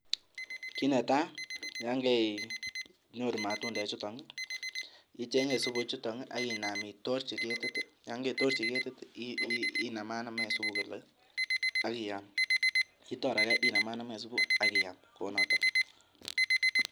Kiit netaa yoon koinyoru matundechuton icheng'e supuu ichuton ak inam itorchi ketit, yoon koitorchi ketit inamanamen supuu kolee ak iyam, itor akee inamanamen supuu ak iyam kounoton.